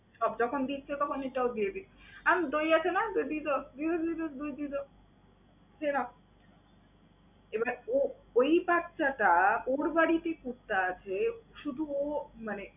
সব যখন দিচ্ছো তখন এইটাও দিয়ে দিক। আনো দই আছে না? দই দিয়ে দাও, দিয়ে দাও, দিয়ে দাও, দই দিয়ে দাও, দিয়ে দাও। এবারে ও ঐ বাচ্চাটা, ওর বাড়িতে কুত্তা আছে, শুধু ও মানে